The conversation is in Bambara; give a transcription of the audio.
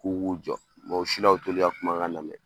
K'u k'u jɔ o si la o t'olu y'a kumakan lamɛn